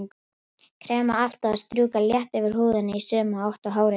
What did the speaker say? Krem á alltaf að strjúka létt yfir húðina í sömu átt og hárið vex.